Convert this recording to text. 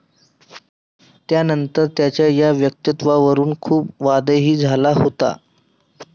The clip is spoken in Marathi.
त्यानंतर त्यांच्या या वक्तव्यावरून खूप वादही झाला होता.